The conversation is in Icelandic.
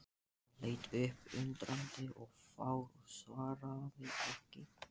Hann leit upp undrandi og fár og svaraði ekki.